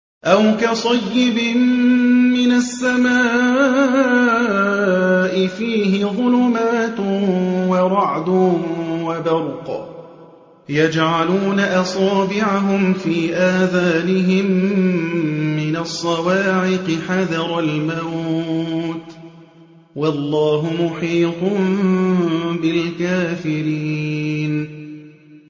أَوْ كَصَيِّبٍ مِّنَ السَّمَاءِ فِيهِ ظُلُمَاتٌ وَرَعْدٌ وَبَرْقٌ يَجْعَلُونَ أَصَابِعَهُمْ فِي آذَانِهِم مِّنَ الصَّوَاعِقِ حَذَرَ الْمَوْتِ ۚ وَاللَّهُ مُحِيطٌ بِالْكَافِرِينَ